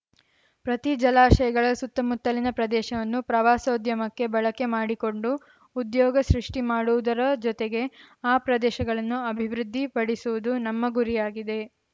ಪ್ರತಿ ಜಲಾಶಯಗಳ ಸುತ್ತಮುತ್ತಲಿನ ಪ್ರದೇಶವನ್ನು ಪ್ರವಾಸೋದ್ಯಮಕ್ಕೆ ಬಳಕೆ ಮಾಡಿಕೊಂಡು ಉದ್ಯೋಗ ಸೃಷ್ಟಿಮಾಡುವುದರ ಜೊತೆಗೆ ಆ ಪ್ರದೇಶಗಳನ್ನು ಅಭಿವೃದ್ಧಿ ಪಡಿಸುವುದು ನಮ್ಮ ಗುರಿಯಾಗಿದೆ